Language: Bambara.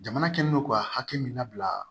Jamana kɛlen don ka hakɛ min labila